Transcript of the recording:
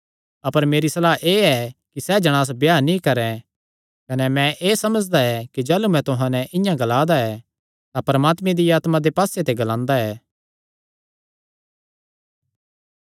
अपर मेरी सलाह एह़ ऐ कि सैह़ जणांस ब्याह नीं करैं कने मैं एह़ समझदा ऐ कि जाह़लू मैं तुहां नैं इआं ग्लादा ऐ तां परमात्मे दिया आत्मा दे पास्से ते ग्लांदा ऐ